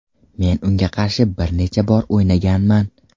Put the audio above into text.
Men unga qarshi bir necha bor o‘ynaganman.